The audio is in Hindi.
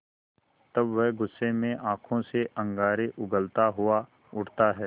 तब वह गुस्से में आँखों से अंगारे उगलता हुआ उठता है